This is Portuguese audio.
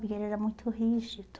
Porque ele era muito rígido.